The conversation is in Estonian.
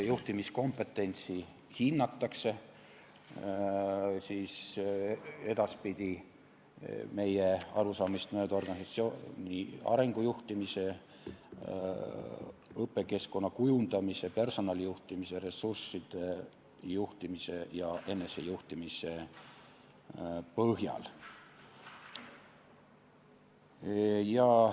Juhtimiskompetentsi hinnatakse edaspidi meie arusaamist mööda organisatsiooni arengu juhtimise, õpikeskkonna kujundamise, personalijuhtimise, ressursside juhtimise ja enesejuhtimise põhjal.